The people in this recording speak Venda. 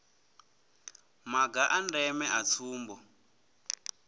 maga a ndeme a tsumbo